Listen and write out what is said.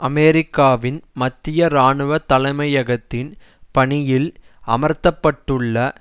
அமெரிக்காவின் மத்திய இராணுவ தலைமையகத்தின் பணியில் அமர்த்தப்பட்டுள்ள